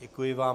Děkuji vám.